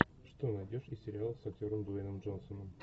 что найдешь из сериалов с актером дуэйном джонсоном